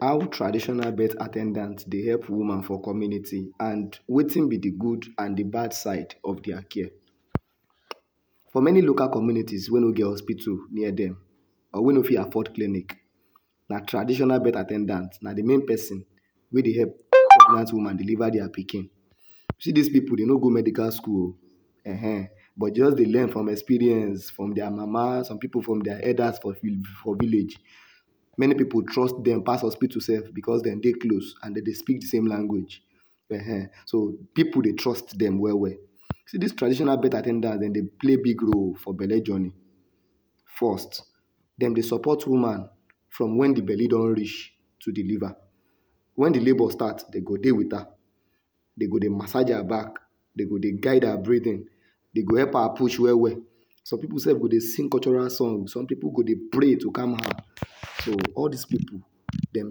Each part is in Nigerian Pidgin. How traditional birth at ten dant dey help woman for community and wetin be di gud and di bad side of dia care? For many local communities wey no get hospitu near dem or wey no get clinic, na traditional birth at ten dant, na di main pesin wey dey help pregnant woman deliver dia pikin. See dis pipu dem no go medical school o, um but just dey learn from experience from dia mama, some pipu from dia elders for for village. Many pipu trust dem pass hospitu sef becos dem dey close and dem dey speak disame language um so, pipu dey trust dem well well. See dis traditional birth at ten dant, dem play big role for belle journey. First, dem dey support woman from wen di belle don reach to deliver. Wen di belle start, dem go dey wit her, dem go dey massage her back, dem go dey guide her breathing, dem go dey help her push well well, some pipu sef go dey sing cultural song, some pipu go dey pray to calm her. So all dis pipu, dem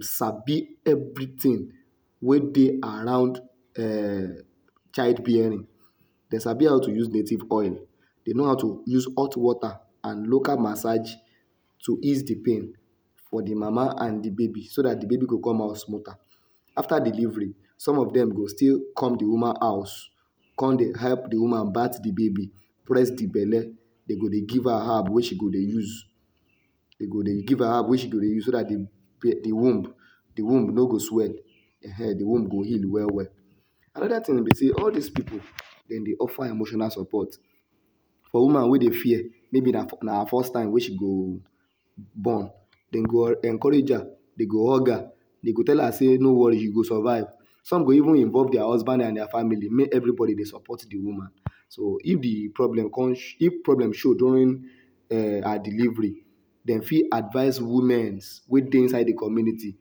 sabi everytin wey dey around um child bearing. Dem sabi how to use native oil, dem know how to use hot wota and local massage to ease di pain for di mama and di baby so dat di baby go come out smoother. Afta delivery, some of dem go still come di woman house, come dey help di woman bath di baby, press di belle, dem go dey give her herb wey she go dey use, dem go dey give her herb wey she go dey use so dat di di womb di womb no go swell um, di womb go heal well well. Anoda tin be sey all dis pipu, dem dey offer emotional support for woman wey dey fear, maybe na her first time wey she go born, dem go encourage her, dem go hug her, dem go tell her sey no wori you go survive. Some go even involve dia husband and dia family, make everybody dey support di woman. So, if di problem come if problem show during her delivery, dem fit advice womens wey dey inside di community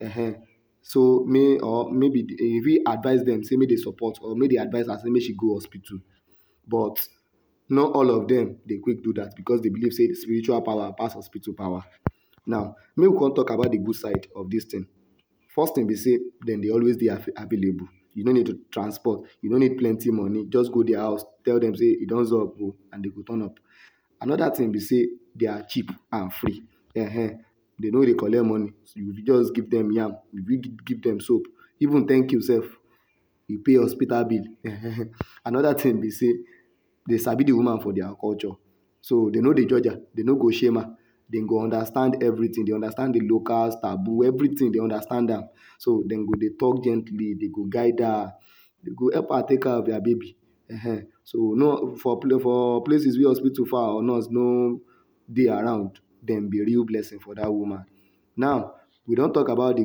um, so make or maybe dem fit advice dem support or make dem advice her sey make dem go hospitu, but not all of dem dey fit do dat becos dem believe sey spiritual power pass hospitu power. Now make we come talk about di gud side of dis tin. First tin be sey dem dey always dey available, you no need to transport, you no nid plenty moni, just go dia house, tell dem sey e don sup o and dem go turn up. Anoda tin be sey, they are cheap and free um. Dem no dey collect moni, just give dem yam, give dem soap, even thank you sef, you pay hospitu bill. Anoda tin be sey, dem sabi di woman for dia culture, so dem no dey judge her, dem no go shame her, dem go understand everytin, dem understand di locals, taboo, everytin, dem understand am. So, dem go dey tok gently, dem go guide her, dem go help her take care of her baby. So no for for places wey hospitu far or nurse no dey around, dem be real blessing for dat woman. Now, we don tok about di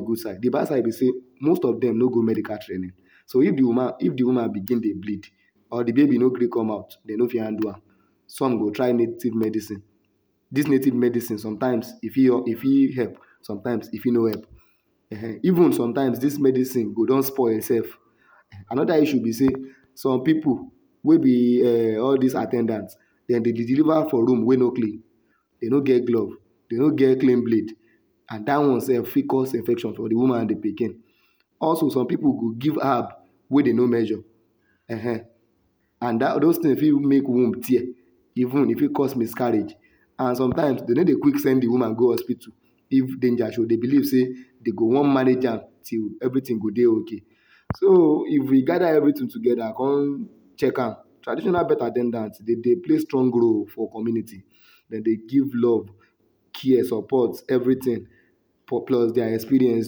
gud side, di bad side be sey, most of dem no go medical training, so if di woman begin dey bleed or di baby no gree come out, dem no fit handle am, some go try native medicine. Dis native medicine, sometimes e fit help, sometimes e fit no help um. Even sometimes, dis native medicine go don spoil sef. Anoda issue be sey some pipu wey be all dis at ten dant, dem dey deliver for room wey no klin, dem no get glove, dem no get klin blade and dat one sef fit cause infection for di woman and di pikin. Also some pipu go give herb wey dem no measure um, and dat dos tins fit make womb tear, even, e fit cause miscarriage. And sometimes, dem no dey quick send di woman go hospitu if danger show. Dem believe sey dem go wan manage am till everytin go dey okay. So, if we gada evritin tugeda com check am, traditional birth at ten dant, dem dey play strong role for community. Dem dey give love, care, support, everytin plus dia experience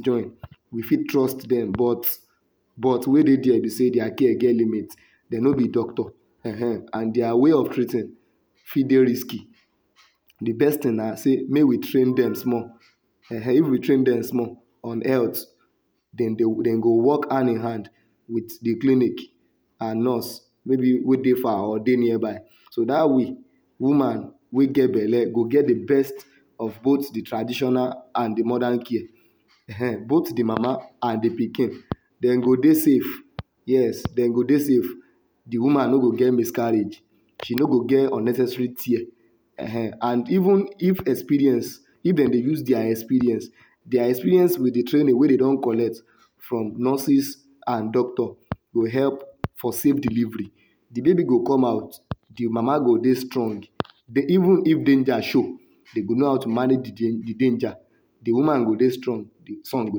join, we fit trust dem but but di tin wey dey there be sey dia care get limit, dem no be doctor um. And dia way of treating fit sey risky. Di best tin na sey make we train dem small um, if we train dem small and health, dem go work hand in hand wit di clinic and nurse wey wey dey far or nearby. So dat way, woman wey get belle go get di best of both di traditional and di modern care um. Both di mama and di pikin, dem go dey safe, yes, dem go dey safe. Di woman no go get miscarriage, she no go get unnecessary tear, ehen. And even if experience, if dem dey use dia experience dia experience wit di training wey dem don collect from nurses and from doctor go help for safe delivery. Di baby go come out, di mama go dey strong. even if danger show, dem go know how to manage di di danger, di woman go dey strong, di son go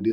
dey